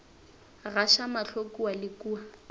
gaša mahlo kua le kua